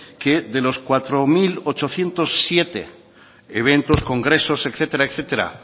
que de los cuatro mil ochocientos siete eventos congresos etcétera